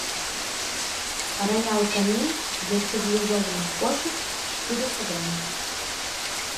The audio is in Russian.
роял канин для стерилизованных кошек четыреста грамм